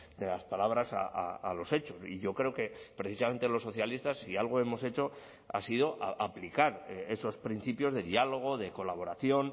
de las palabras a los hechos y yo creo que precisamente los socialistas si algo hemos hecho ha sido aplicar esos principios de diálogo de colaboración